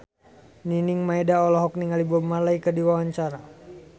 Nining Meida olohok ningali Bob Marley keur diwawancara